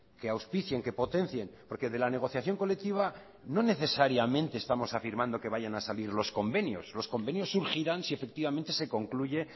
que auspicien que potencien porque de la negociación colectiva no necesariamente estamos afirmando que vayan a salir los convenios los convenios surgirán si efectivamente se concluye